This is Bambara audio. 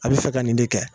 A bɛ fɛ ka nin de kɛ